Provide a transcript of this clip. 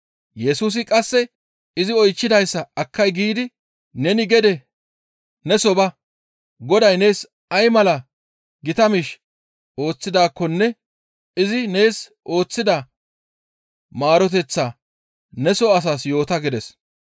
Yesusi qasse izi oychchidayssa akkay giidi, «Neni gede neso ba; Goday nees ay mala gita miish ooththidaakkonne izi nees ooththida maaroteththaa neso asaas yoota» gides.